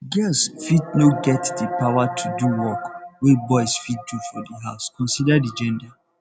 girls fit no get di power to do work wey boys fit do for di house consider di gender